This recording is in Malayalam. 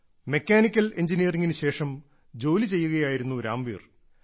മെക്കാനിക്കൽ എഞ്ചിനീയറിങ്ങിന് ശേഷം ജോലി ചെയ്യുകയായിരുന്നു രാംവീർ